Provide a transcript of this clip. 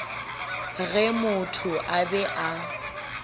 ge motho a be a